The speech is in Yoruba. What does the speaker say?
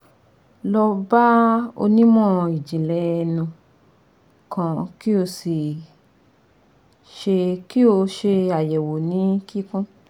Lọ ba onimọ ijinlẹ ẹnu kan ki o ṣe ki o ṣe ayẹwo ni kikun